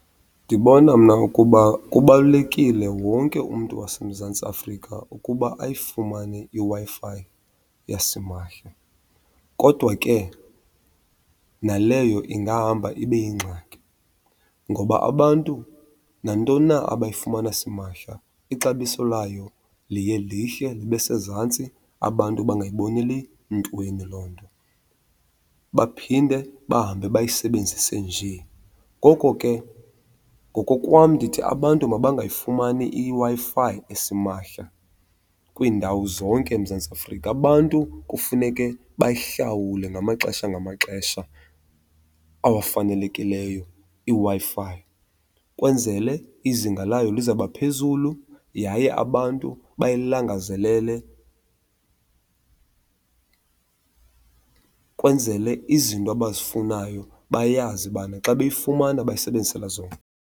Ndibona mna ukuba kubalulekile wonke umntu waseMzantsi Afrika ukuba ayifumane iWi-Fi yasimahla. Kodwa ke naleyo ingahamba ibe yingxaki ngoba abantu nantoni na abayifumana simahla ixabiso layo liye lihle libe sezantsi, abantu bangayiboneli ntweni loo nto, baphinde bahambe bayisebenzise nje. Ngoko ke ngokokwam ndithi abantu mabangayifumani iWi-Fi esimahla kwiindawo zonke eMzantsi Afrika. Abantu kufuneke bayihlawule ngamaxesha ngamaxesha awafanelekileyo iWi-Fi, kwenzele izinga layo lizawuba phezulu yaye abantu bayilangazelele, kwenzele izinto abazifunayo bayazi ubana xa beyifumana bayisebenzisela zona.